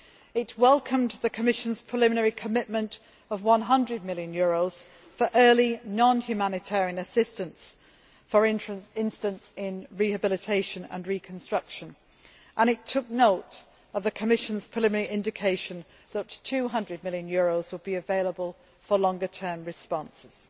It welcomed the Commission's preliminary commitment of EUR 100 million for early non humanitarian assistance, for instance, in rehabilitation and reconstruction, and it took note of the Commission's preliminary indication that EUR 200 million would be available for longer term responses.